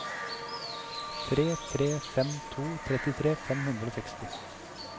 tre tre fem to trettitre fem hundre og seksti